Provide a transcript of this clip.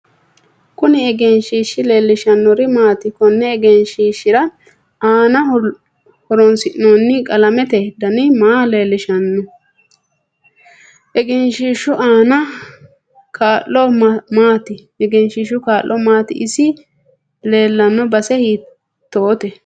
Kuni egenshiishi leelishanori maati konni egenishiishira aanaho horoonisinooni qalamete dani maa leelishanno egenishiishu aano kaa'lo maati isi leelanno base hiitoote